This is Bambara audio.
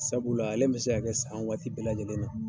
Sabula ale bɛ se ka kɛ san waati bɛɛ lajɛlen na.